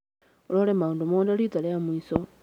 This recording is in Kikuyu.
Ũrore maũndũ mothe rita rĩa mũico.